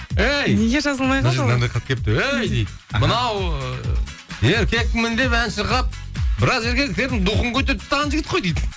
ей дейді мынау ыыы еркекпін деп ән шырқап біраз еркектердің духын көтертіп тастаған жігіт қой дейді